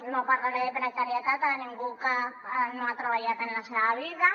no parlaré de precarietat a ningú que no ha treballat en la seva vida